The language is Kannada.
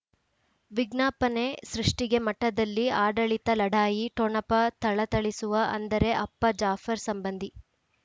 ವಿಜ್ಞಾಪನೆ ಸೃಷ್ಟಿಗೆ ಮಠದಲ್ಲಿ ಆಡಳಿತ ಲಢಾಯಿ ಠೊಣಪ ಥಳಥಳಿಸುವ ಅಂದರೆ ಅಪ್ಪ ಜಾಫರ್ ಸಂಬಂಧಿ